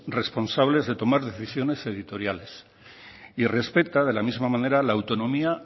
responsables de tomar decisiones editoriales y respeta de la misma manera la autonomía